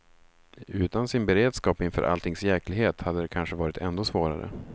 Utan sin beredskap inför alltings djäklighet hade det kanske varit ändå svårare.